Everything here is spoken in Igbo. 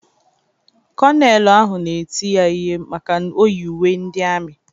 Konelu ahụ na-eti ya ihe maka o yi uwe ndị ami.